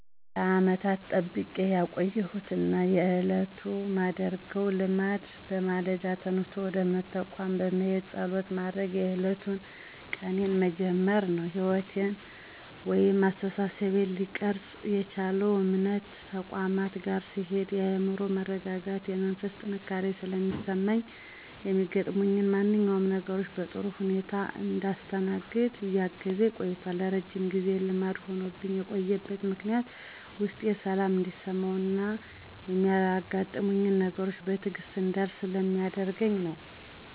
ለዓመታት ጠብቄ ያቆየሁት ና በየዕለቱ ማደርገው ልማድ በማለዳ ተነስቶ ወደ እምነት ተቋማት በመሄድና ፀሎት በማድረግ የዕለቱን ቀኔን መጀመር ነው። ሕይወቴን ወይም አስተሳሰቤን ሊቀርፅ የቻለው እምነት ተቋማት ጋር ስሄድ የአዕምሮ መረጋጋትና የመንፈስ ጥንካሬ ስለሚሰማኝ ሚያጋጥሙኝን ማንኛውንም ነገሮች በጥሩ ሁኔታ እንዳስተናግድ እያገዘኝ ቆይቶል። ለረጅም ጊዜ ልማድ ሆኖብኝ የቆየበት ምክንያትም ውስጤ ሰላም እንዲሰማውና ሚያጋጥሙኝን ነገሮች በትዕግስት እንዳልፍ ስለሚያደርገኝ ነው።